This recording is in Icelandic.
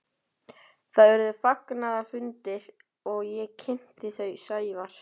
Það urðu fagnaðarfundir og ég kynnti þau Sævar.